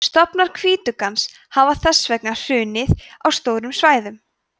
stofnar hvítuggans hafa þess vegna hrunið á stórum svæðum